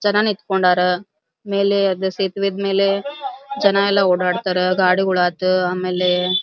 ಜನ ನಿಂಥಂಕೊಂಡರ ಮೇಲೆ ಅದ ಸೇತುವೆ ಮೇಲೆ ಜನ ಎಲ್ಲ ಓಡಾಡ್ತಾರ ಗಾಡಿಗಳು ಆತು ಆಮೇಲೆ --